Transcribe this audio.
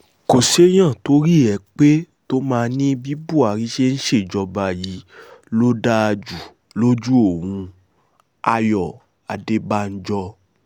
kò séèyàn torí ẹ̀ pé tó máa ní bí buhari ṣe ń ṣèjọba yìí ló dáa jù lójú òun-ayọ̀ adébànjọ́